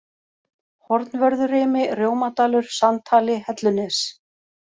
Hornvörðurimi, Rjómadalur, Sandhali, Hellunes